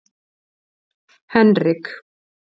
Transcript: Henrik